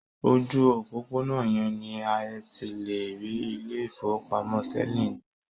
Ojú òpópónà yẹn ni ẹ ti lè rí ilé-ìfowópamọ́ Sterling níbí.